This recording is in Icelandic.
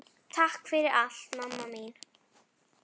Takk fyrir allt, mamma mín.